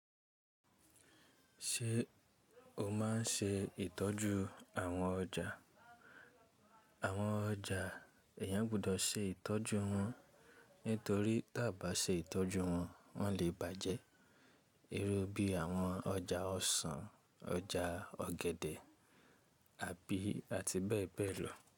Ṣé o máa n ṣe ìtọ́jú àwọn ọjà? Àwọn ọjà, èèyàn gbọdọ̀ ṣe ìtọ́jú wọn nítorí tí a bá ṣe ìtọ́jú wọn, wọn lè bàjẹ́. Iru bí àwọn ọjà ọsàn, ọjà ọ̀gẹ̀dẹ̀ ati bee bee lo.